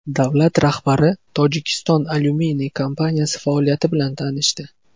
Davlat rahbari Tojikiston alyuminiy kompaniyasi faoliyati bilan tanishdi.